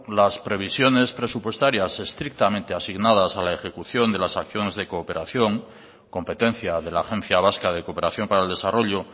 las previsiones presupuestarias estrictamente asignadas a la ejecución de las acciones de cooperación competencia de la agencia vasca de cooperación para el desarrollo